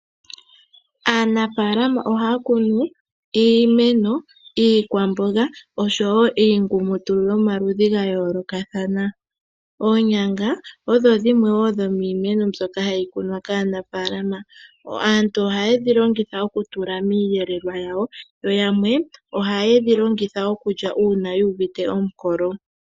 Aanafaalama ohaya kunu iimeno, iikwamboga osho wo iingumutulu yomaludhi gayoolokathana. Oonyanga odho dhimwe wo dhomiimeno mbyono hayi kumwa kaanafaalama. Aantu ohaye dhilongitha okutula miiyelelwa yawo yo yamwe khaye dhilonguha okulya uuna yuuvite omukolo.